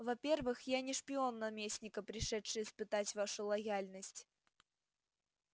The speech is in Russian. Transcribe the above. во-первых я не шпион наместника пришедший испытать вашу лояльность